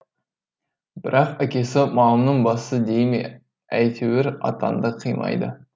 бірақ әкесі малымның басы дей ме әйтеуір атанды қимайды